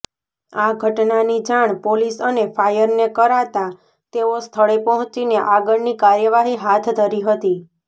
આ ઘટનાની જાણ પોલીસ અને ફાયરને કરાતા તેઓ સ્થળે પહોંચીને આગળની કાર્યવાહી હાથ ધરી હતી